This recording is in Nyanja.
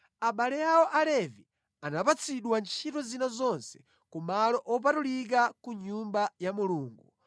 Abale awo Alevi anapatsidwa ntchito zina zonse ku malo opatulika ku nyumba ya Mulungu.